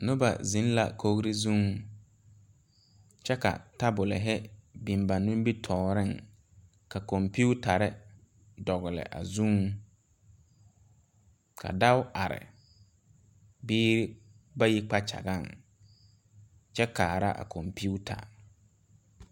Nobɔ yaga arɛɛ dikaraa poɔŋ ka ba mine are fuolee kyɛ pɛgle baagirre kyɛ yɛre kpare tɛɛtɛɛ.